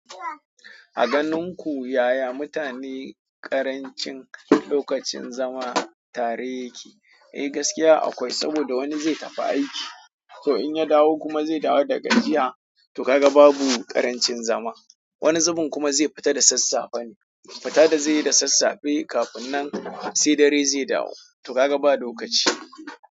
A ganin ku yaya mutane ƙarancin lokacin zama tare yake? Eh gaskiya akwai, saboda wani zai tafi aiki, to in ya dawo kuma zai dawo daga jiya to ka ga babu ƙarancin zama. Wani zubin kuma zai fita da sassafe ne, fita da zaiyi da sassafe kafin nan sai dare zai dawo to ka ga ba lokaci.